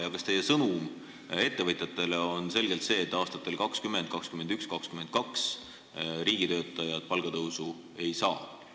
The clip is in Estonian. Kas teie selge sõnum ettevõtjatele on see, et aastatel 2020, 2021 ja 2022 riigitöötajad palgatõusu ei saa?